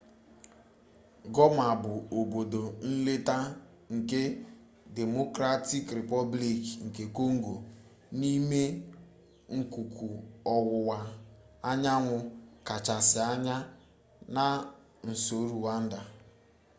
goma bụ obodo nleta nke democratic replublic nke kongo n'ime akụkụ ọwụwa anyanwụ kachasị anya na nso rwanda